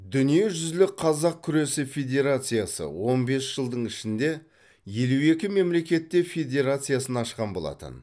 дүниежүзілік қазақ күресі федерациясы он бес жылдың ішінде елу екі мемлекетте федерациясын ашқан болатын